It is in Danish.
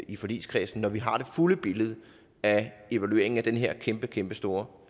i forligskredsen når vi har det fulde billede af evalueringen af den her kæmpekæmpestore